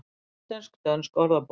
Íslensk-dönsk orðabók.